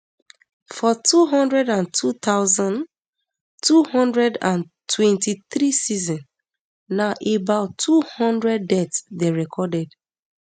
for two hundred and two thousand, two hundred and twenty-three season na about two hundred deaths dey recorded